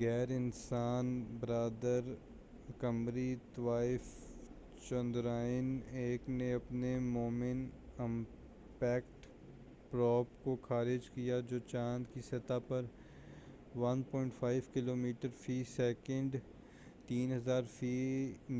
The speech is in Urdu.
غیر انسان بردار قمری طوّاف چندرائن-1 نے اپنے مون امپیکٹ پروب کو خارج کیا جو چاند کی سطح پر 1.5 کلومیٹر فی سیکنڈ 3000